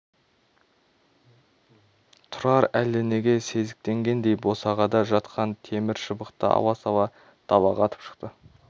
тұрар әлденеге сезіктенгендей босағада жатқан темір шыбықты ала сала далаға атып шықты